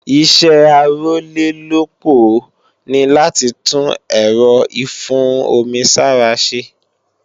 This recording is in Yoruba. Ìṣẹ́ Arólélópòó ní láti tún èrọ ìfún-omi-sára ṣe